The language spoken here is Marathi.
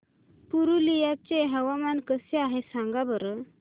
पुरुलिया चे हवामान कसे आहे सांगा बरं